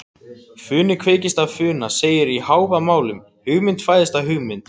Funi kveikist af funa segir í Hávamálum, hugmynd fæðist af hugmynd.